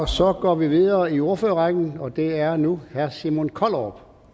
så går vi videre i ordførerrækken og det er nu herre simon kollerup